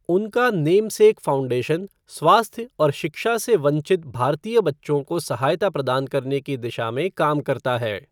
उनका namesake foundation स्वास्थ्य और शिक्षा से वंचित भारतीय बच्चों को सहायता प्रदान करने की दिशा में काम करता है।